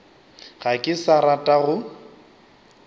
ga ke sa rata go